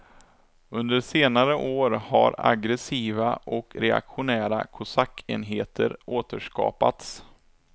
Under senare år har aggressiva och reaktionära kosackenheter återskapats.